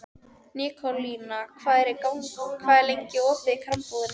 Nikólína, hvað er lengi opið í Krambúðinni?